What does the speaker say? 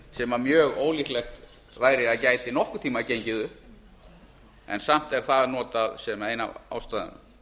sem mjög ólíklegt væri að gæti nokkurn tímann gengið upp en samt er það notað sem ein af ástæðunum